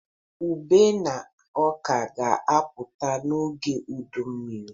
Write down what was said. Ube na ọka ga-apụta n'oge udu mmiri.